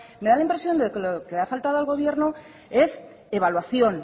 me da la impresión de que lo que le ha faltado al gobierno es evaluación